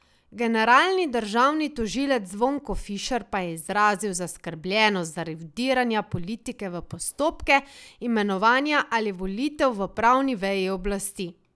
Generalni državni tožilec Zvonko Fišer pa je izrazil zaskrbljenost zaradi vdiranja politike v postopke imenovanja ali volitev v pravni veji oblasti.